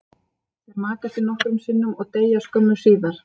Þeir maka sig nokkrum sinnum og deyja skömmu síðar.